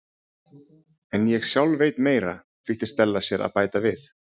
En ég sjálf veit meira- flýtti Stella sér að bæta við.